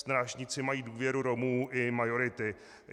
Strážníci mají důvěru Romů i majority.